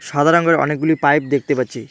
সাদা রঙ্গের অনেকগুলি পাইপ দেখতে পাচ্ছি।